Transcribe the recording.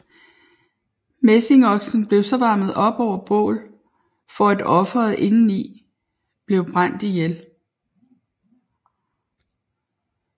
Messingoksen blev så varmet op over bål for at offeret indeni blev brændt ihjel